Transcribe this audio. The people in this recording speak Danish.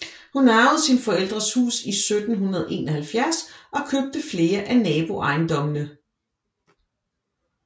Hun arvede sine forældres hus i 1771 og købte flere af naboejendommene